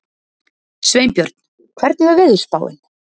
Sveinbjörn, hvernig er veðurspáin?